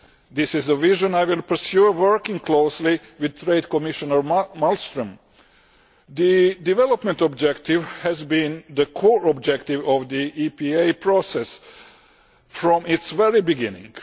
This is a vision I will pursue, working closely with Trade Commissioner Malmström. The development objective has been the core objective of the EPA process from its very beginning.